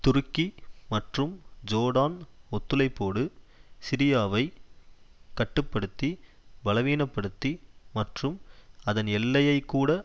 துருக்கி மற்றும் ஜோர்டான் ஒத்துழைப்போடு சிரியாவை கட்டு படுத்தி பலவீனப்படுத்தி மற்றும் அதன் எல்லையை கூட